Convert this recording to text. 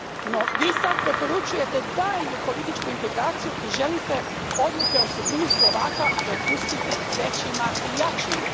No vi sad preporučujete daljnju političku integraciju i želite odluke o sudbini Slovaka prepustiti većima i jačima.